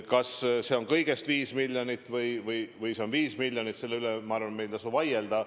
Kas see on kõigest 5 miljonit või see on tervelt 5 miljonit, selle üle, ma arvan, meil ei tasu vaielda.